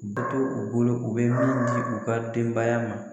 Bɛ to u bolo u bɛ min di u ka denbaya ma.